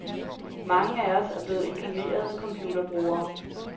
Mange af os er blevet inkarnerede computerbrugere.